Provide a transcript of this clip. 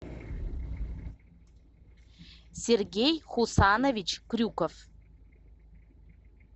сергей хусанович крюков